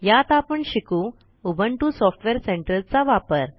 यात आपण शिकू उबुंटू सॉफ्टवेअर सेंटर चा वापर